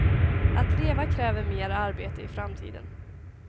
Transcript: Att leva kräver mer arbete i framtiden.